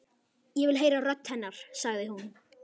Ég vil heyra rödd hennar, sagði hún.